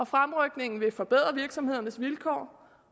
fremrykningen vil forbedre virksomhedernes vilkår